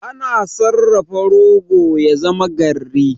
Ana sarrafa rogo ya zama garri.